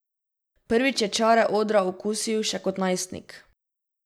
Prvič je čare odra okusil še kot skoraj najstnik.